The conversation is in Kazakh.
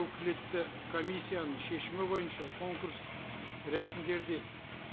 өкілетті комиссияның шешімі бойынша конкурстық рәсімдерді